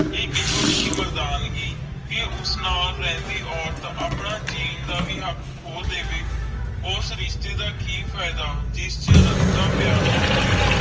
ਆਈ ਕਿਹੋ ਜੇ ਮਰਦਾਨਗੀ ਕ ਉਸ ਨਾਲ ਗ਼ੈਬੀ ਔਰਤ ਆਪਣਾ ਜੀਣ ਨਾ ਵੇ ਹਕ਼ ਕਹੋ ਦੇਵੇ ਉਸ ਰਿਸ਼ਤੇ ਦਾ ਕਿ ਫਾਇਦਾ ਜਿੰਦੇ ਸੇ ਰਾਫਤਾ ਪਿਆਰ ਨਾ ਹੋਵੇ